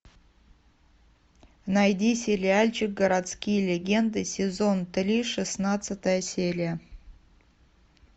найди сериальчик городские легенды сезон три шестнадцатая серия